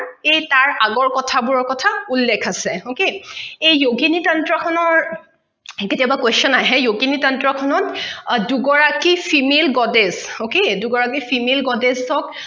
এই তাৰ আগৰ কখা বোৰৰ কখা উল্লেখ আছে okay এই yogini tantra খনৰ কেতিয়াবা questions আহে yogini tantra খনত দুগৰাকী female garage okay দুগৰাকী female garage ক